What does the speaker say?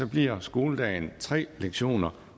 bliver skoledagen tre lektioner